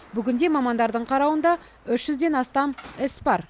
бүгінде мамандардың қарауында үш жүзден астам іс бар